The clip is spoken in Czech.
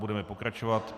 Budeme pokračovat.